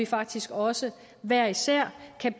faktisk også hver især